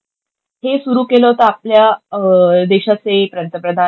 हे सुरू केलं होतं आपल्या देशाचे पंतप्रधान,